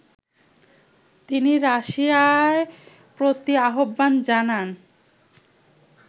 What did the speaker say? তিনি রাশিয়ার প্রতি আহ্বান জানান